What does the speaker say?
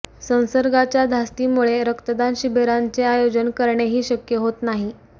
संसर्गाच्या धास्तीमुळे रक्तदान शिबिरांचे आयोजन करणेही शक्य होत नाही